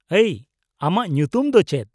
-ᱟᱹᱭ, ᱟᱢᱟᱜ ᱧᱩᱛᱩᱢ ᱫᱚ ᱪᱮᱫ ?